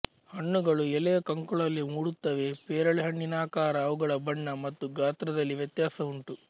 ಹಣ್ಣುಗಳು ಎಲೆಯ ಕಂಕುಳಲ್ಲಿ ಮೂಡುತ್ತವೆ ಪೇರಳೆಹಣ್ಣಿನಾಕಾರ ಅವುಗಳ ಬಣ್ಣ ಮತ್ತು ಗಾತ್ರದಲ್ಲಿ ವ್ಯತ್ಯಾಸ ಉಂಟು